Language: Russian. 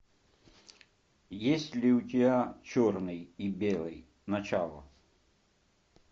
есть ли у тебя черный и белый начало